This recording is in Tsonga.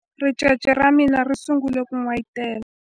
ricece ra mina ri sungule ku n'wayitela